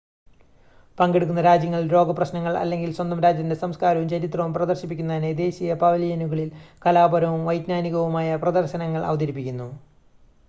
പങ്കെടുക്കുന്ന രാജ്യങ്ങൾ ലോക പ്രശ്നങ്ങൾ അല്ലെങ്കിൽ സ്വന്തം രാജ്യത്തിൻ്റെ സംസ്ക്കാരവും ചരിത്രവും പ്രദർശിപ്പിക്കുന്നതിനായി ദേശീയ പവലിയനുകളിൽ കലാപരവും വൈജ്ഞാനികവുമായ പ്രദർശനങ്ങൾ അവതരിപ്പിക്കുന്നു